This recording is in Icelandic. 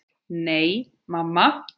Nei, mamma.